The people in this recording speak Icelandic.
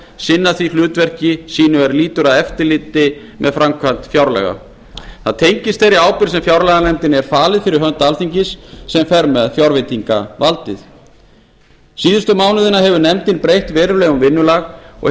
sinna því hlutverki sínu er lýtur að eftirliti með framkvæmd fjárlaga það tengist þeirri ábyrgð sem fjárlaganefndinni er falin fyrir hönd alþingis fjárlaganefndinni sem fer með fjárveitingavaldið síðustu mánuðina hefur nefndin breytt verulega um vinnulag og